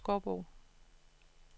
Skovbo